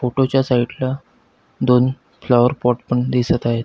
Photo च्या side ला दोन फ्लॉवर पॉट पण दिसत आहेत.